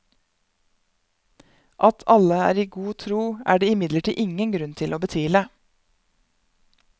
At alle er i god tro, er det imidlertid ingen grunn til å betvile.